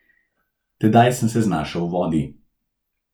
Tedaj sem se znašel v vodi.